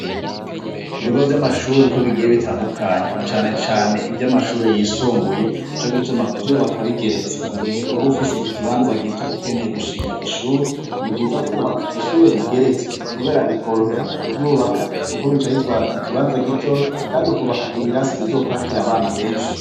Ku bigo vy'amashuri uko bigiye bitandukanye na cane cane ivy'amashuri yisumbuye nico gituma kuvyubaka bigeretse mu gihe ubu ufise ikibanza gito ukeneye gushinga ishure ni vyiza kubaka ishure rigeretse kubera bikorohera mu kuryubaka kuko bica bitwara ikibanza gito kandi ukubaka ibirasi bizokwakira abana benshi.